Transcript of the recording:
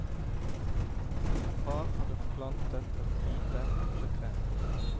Far hadde plantet et lite epletre.